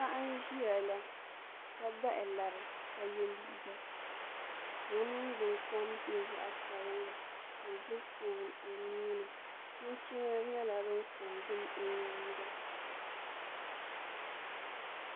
Paɣa n ʒiya la ka bahi lari ka yɛ liiga ka o ningbuni kom nyɛ zaɣ sabinli ka o gbubi foon o nuuni chinchina nyɛla din ko n gili o nyaanga